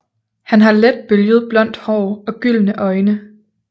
Han har let bølget blond hår og gyldne øjne